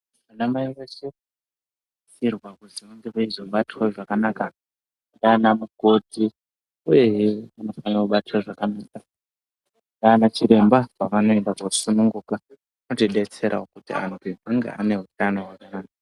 Anamai veshe vanosisirwa kuti vange veizobatwa zvakanaka ngaana mukoti. Uye vanofane kubatwe zvakanaka ngaana chiremba, pevanoenda koobara. Zvinotidetserawo kuti anthu ange ane hutano hwakanaka.